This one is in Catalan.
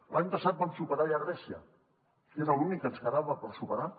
l’any passat vam superar ja a grècia que és l’únic que ens quedava per superar